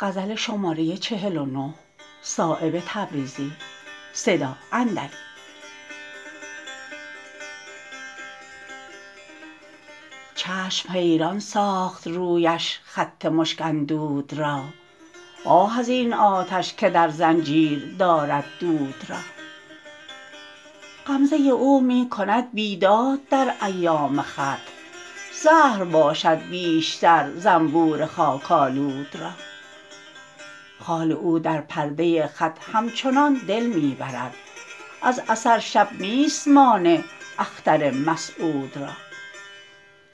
چشم حیران ساخت رویش خط مشک اندود را آه ازین آتش که در زنجیر دارد دود را غمزه او می کند بیداد در ایام خط زهر باشد بیشتر زنبور خاک آلود را خال او در پرده خط همچنان دل می برد از اثر شب نیست مانع اختر مسعود را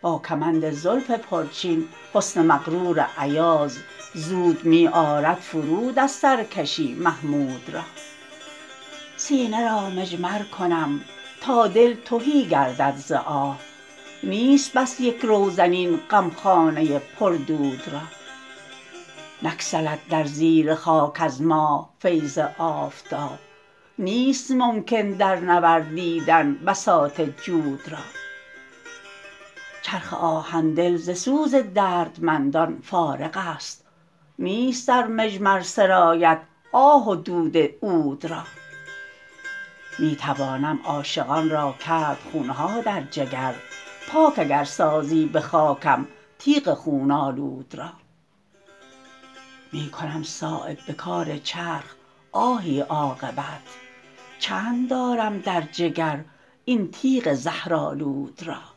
با کمند زلف پرچین حسن مغرور ایاز زود می آرد فرود از سرکشی محمود را سینه را مجمر کنم تا دل تهی گردد ز آه نیست بس یک روزن این غمخانه پر دود را نگسلد در زیر خاک از ماه فیض آفتاب نیست ممکن درنوردیدن بساط جود را چرخ آهن دل ز سوز دردمندان فارغ است نیست در مجمر سرایت آه و دود عود را می توانم عاشقان را کرد خون ها در جگر پاک اگر سازی به خاکم تیغ خون آلود را می کنم صایب به کار چرخ آهی عاقبت چند دارم در جگر این تیغ زهرآلود را